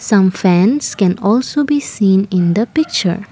some fans can also be seen in the picture.